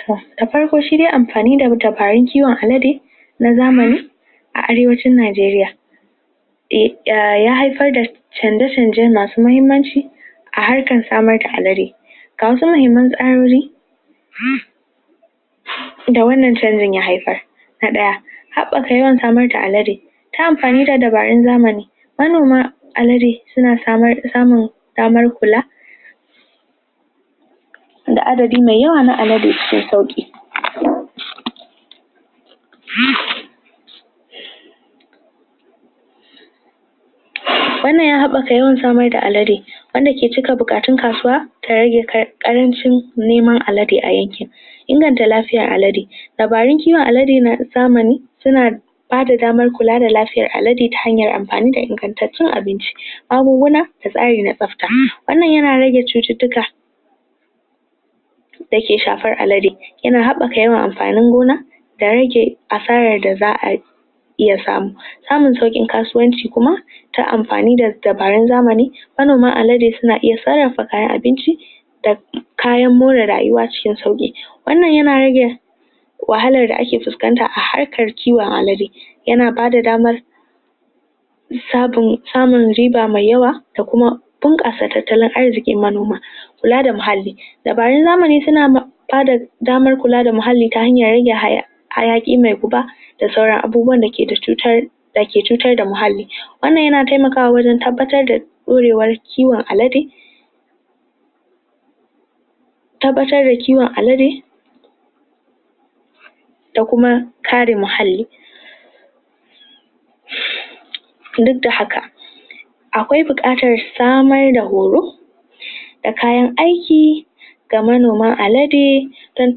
toh! da farko shi de amfani da matafarin kiwon alade na zamani a arewacin Najeriya ya haifar da canje-canje masu muhimmanci a harkan samar da alade. da wannan canjen ya haifar na daya, habbaka yawan samar da alade ta amfani da dabarun zamani manoma, alade suna samnu damar kula da addadin me yawa na alade cikin sauki wannan ya habbaka yawan samar da alade, wanda ke cika bukatun kasuwa ka rage karancin neman alade a yanken. Ingantan lafiyar alade, dabarun kiwon alade na zamani dabarun kiwon alade na da zamani suna ba da damar kula da lafiyar alade ta hanyar amfani da inganttacen abinci da tsari na tsabta. Wannan yana rage cuttutuka da ke shafar alade. Yana habbaka yawan amfani gona da rage da za'a yi samun saukin kasuwanci kuma ta amfani da dabarun zamani alade suna iya tsarafa kayan abinci da da kayan more rayuwa cikin sauki wannan yana rage wahalar da ake fuscanta a harkan ciwon alade yana ba da damar yana ba da damar samun riba me yawa da kuma tatalan arzikin manoma kula da muhalli zamani suna ba da damar kula da muhalli ta hanyar hayaki me kuba da sauran abubuwan da ke da cuttar da ke cutar da muhalli. wannan yana taimakawa wajen tabbatar da kwarewan kiwon alade, tabbaatar da kiwon alade, da kuma karin mahalli duk da haka Akwai bukatan samar da horo da kayan aiki don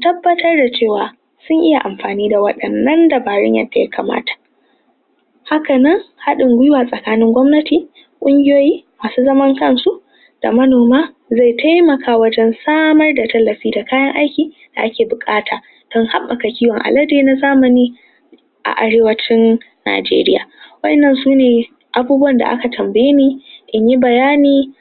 tabbatar da cewa sun iya amfani da waddanan dabarun yadda ya kamata haka nan, hadin gwiwa tsakanin gwamnati, kungiyoyi masu zaman kan su da manoma ze taimaka ta wajen samar da tallafi da kayan aiki da ake bukata. don habbaka kiwon alade na zamani a aiwatun Najeriya. wadanan sune abubuwan da aka tambaye ne in yi bayani